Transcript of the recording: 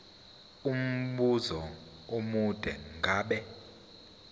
umbuzo omude ngabe